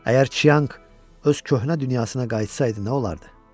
Əgər Chiang öz köhnə dünyasına qayıtsaydı nə olardı?